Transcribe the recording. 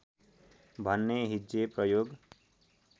भन्ने हिज्जे प्रयोग